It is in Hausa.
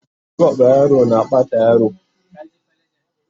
shagwaba yaro na Bata yaro